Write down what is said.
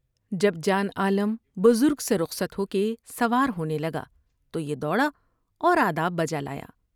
جب جان عالم بزرگ سے رخصت ہو کے سوار ہونے لگا تو یہ دوڑا اور آداب بجالا یا ۔